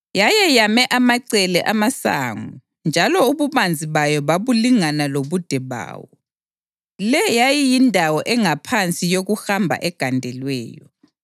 Yayeyame amacele amasango njalo ububanzi bayo babulingana lobude bawo; le yayiyindawo engaphansi yokuhamba egandelweyo.